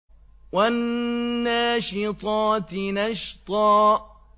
وَالنَّاشِطَاتِ نَشْطًا